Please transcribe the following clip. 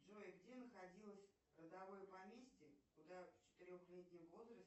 джой где находилось родовое поместье куда в четырехлетнем возрасте